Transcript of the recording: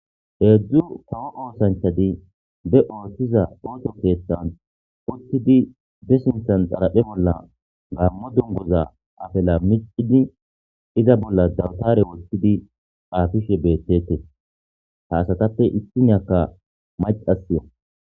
heedzdzu kawo oosanchadi be ooththiza oocho keeththan uttidi desinthan xaraphe bolla gammo dungoza afela micidi iza bolla dawtare wottidi aafishe beettete haasatappe issiniyakka macasya